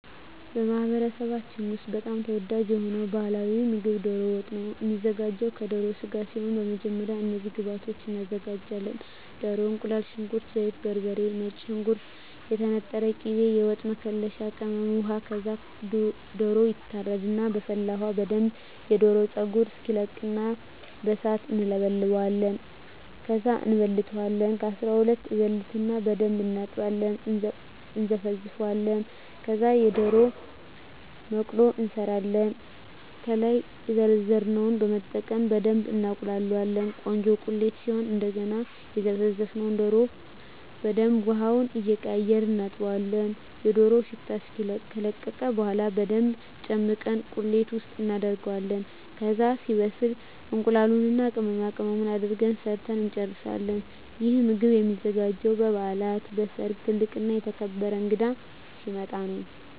በማኅበረሰባችን ውስጥ በጣም ተወዳጅ የሆነው ባሕላዊ ምግብ ደሮ ወጥ ነው የሚዘጋው ከደሮ ስጋ ሲሆን በመጀመሪያ እነዚህን ግብአቶች እናዘጋጃለን። ደሮ፣ እቁላል፣ ሽንኩርት፣ ዘይት፣ በርበሬ፣ ነጭ ሽንኩርት፣ የተነጠረ ቅቤ፣ የወጥ መከለሻ ቅመም፣ ውሃ ከዛ ደሮው ይታረድና በፈላ ውሀ በደንብ የደሮውን ፀጉር እናስለቅቀውና በሣት እንለበልበዋለን። ከዛ እንበልተዋለን ከ12 እበልትና በደንብ እናጥብና እና እነዘፈዝፈዋለን። ከዛ የደሮ መቅሎ እንሠራለን። ከላይ የዘረዘርነውን በመጠቀም በደብ እናቁላላዋለን ቆንጆ ቁሌት ሲሆን እደገና የዘፈዘፍነውን ደሮ በደንብ ውሀውን እየቀያየርን እናጥበዋለን የደሮው ሽታ እስኪለቅ። ከለቀቀ በኋላ በደንብ ጨምቀን ቁሌት ውስጥ እናደርገዋለን። ከዛ ሲበስል እቁላሉን እና ቅመማቅመሙን አድርገን ሠርተን እንጨርሣለን። ይህ ምግብ የሚዘጋጀው በበዓላት፣ በሠርግ፣ ትልቅ እና የተከበረ እንግዳ ሲመጣ።